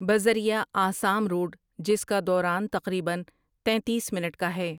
بذریعے Assam road جس کا دوران تقریبا تینتیس منٹ کا ہے ۔